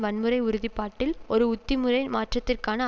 வன்முறை உறுதிப்பாட்டில் ஒரு உத்திமுறை மாற்றத்திற்கான